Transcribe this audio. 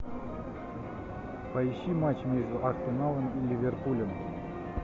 поищи матч между арсеналом и ливерпулем